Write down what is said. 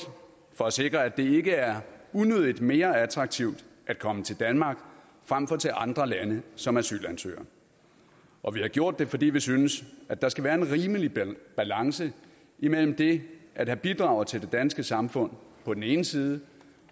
for at sikre at det ikke er unødigt mere attraktivt at komme til danmark frem for til andre lande som asylansøger og vi har gjort det fordi vi synes at der skal være en rimelig balance imellem det at have bidraget til det danske samfund på den ene side